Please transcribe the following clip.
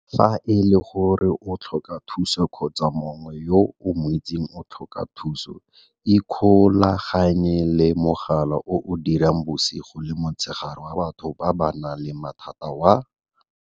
Fa e le gore o tlhoka thuso kgotsa mongwe yo o mo itseng o tlhoka thuso, ikgolaganye le mogala o o dirang bosigo le motshegare wa batho ba ba nang le mathata wa